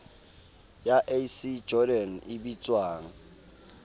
ya ac jordan e bitswang